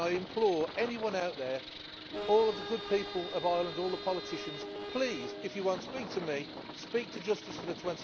I implore anyone out there, all of the good people of Ireland, all the politicians, please, if you will not speak to me, speak to Justice for the